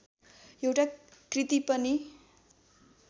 एउटा कृति पनि